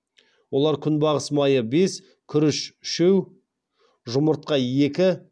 олар күнбағыс майы бес күріш үшеу жұмыртқа екі